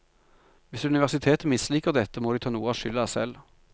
Hvis universitetet misliker dette, må de ta noe av skylda selv.